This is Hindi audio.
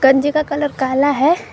का कलर काला है।